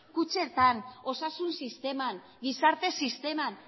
kutxetan osasun sisteman gizarte sisteman